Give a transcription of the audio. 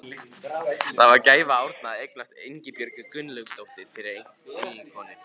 Það var gæfa Árna að eignast Ingibjörgu Gunnlaugsdóttur fyrir eiginkonu.